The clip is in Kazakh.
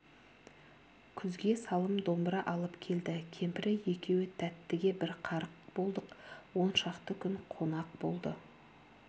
күзге салым домбыра алып келді кемпірі екеуі тәттіге бір қарық болдық он шақты күн қонақ болды